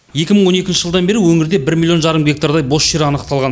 екі мың он екінші жылдан бері өңірде бір миллион жарым гектардай бос жер анықталған